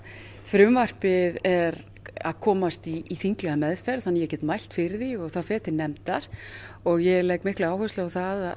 frumvarpið er að komast í þinglega meðferð þannig að ég get mælt fyrir því og það fer til nefndar og ég legg mikla áherslu á það